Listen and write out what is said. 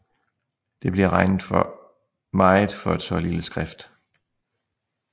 Det bliver regnet for meget for et så lille skrift